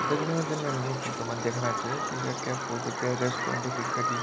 तो दगड़ियों जन हम ई फोटो मा दिखणा च त यख के फोटो कै रेस्टोरेंट या फिर कखी --